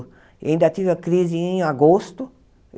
Ainda tive a crise em agosto.